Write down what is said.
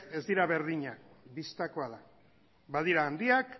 ez dira berdinak bistakoa da badira handiak